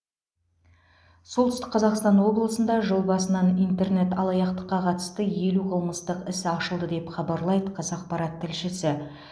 солтүстік қазақстан облысында жыл басынан интернет алаяқтыққа қатысты елу қымыстық іс ашылды деп хабарлайды қазақпарат тілшісі